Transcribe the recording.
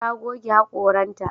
Ta goge haƙoranta.